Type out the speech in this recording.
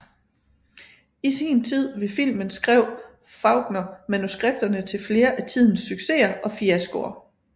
I sin tid ved filmen skrev Faulkner manuskripterne til flere af tidens succeser og fiaskoer